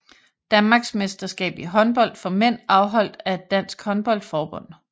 Danmarksmesterskab i håndbold for mænd afholdt af Dansk Håndbold Forbund